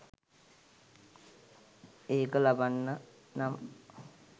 ඒක ලබන්න නම්